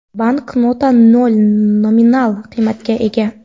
Banknota nol nominal qiymatga ega.